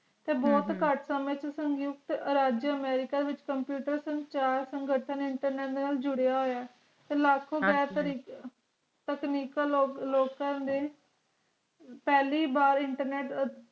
ਤੇ ਬੋਹਤ ਕਟ ਹਮ ਇਸ ਕਿਸਮ ਦੇ ਉਤੇ ਰਾਜੇ amrica ਵਿਚ computer ਚਾਰ ਸਿੰਗਾਰਤਾਂ internet ਨਾਲ ਜੁੜਿਆ ਹੋਇਆ ਤੇ ਲਾਖੁ ਹਨ ਜੀ ਟੈਚਨੀਕੈ ਲੋਕ ਕਰੰਦਾ ਪਹਿਲੀ ਬਾਰ internet